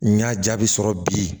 N y'a jaabi sɔrɔ bi